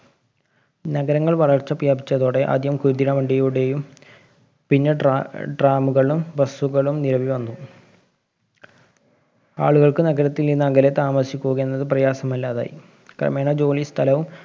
നഗരങ്ങള്‍ വളര്‍ച്ച പ്രാപിച്ചതോടെ ആദ്യം കുതിരവണ്ടിയുടെയും പിന്നെ ട്രാ tram കളും bus കളും നിലവില്‍ വന്നു. ആളുകള്‍ക്ക് നഗരങ്ങളില്‍ നിന്ന് അകലെ താമസിക്കുക എന്നതു പ്രയസമല്ലാതായി. ക്രമേണ ജോലിസ്ഥലവും